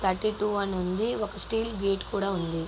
Thirty two అని ఉంది. ఒక స్టీల్ గేట్ ఉంది.